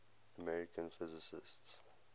american physicists